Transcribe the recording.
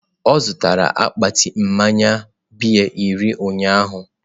O gotere akpati mmaya bịya iri ụnyaahụ